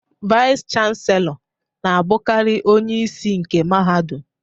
Vaiz Chanselọ na-abụkarị onyeisi nke mahadum.